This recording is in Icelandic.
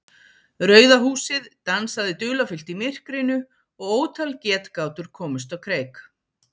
Rauða húsið dansaði dularfullt í myrkrinu og ótal getgátur komust á kreik.